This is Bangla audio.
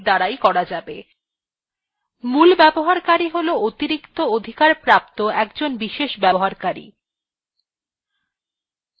মূল ব্যবহারকারী হল অতিরিক্ত অধিকারপ্রাপ্ত একজন বিশেষ ব্যক্তি